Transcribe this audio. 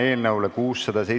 Istungi lõpp kell 17.43.